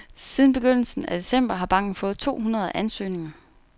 Siden begyndelsen af december har banken fået to hundrede ansøgninger.